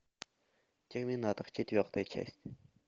терминатор четвертая часть